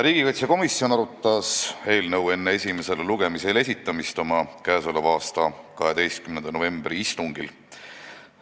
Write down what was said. Riigikaitsekomisjon arutas eelnõu enne esimesele lugemisele esitamist oma k.a 12. novembri istungil.